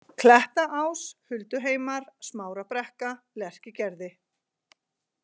Klettaás, Hulduheimar, Smárabrekka, Lerkigerði